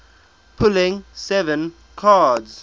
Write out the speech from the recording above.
pulling seven cards